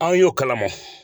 Anw y'o kalama.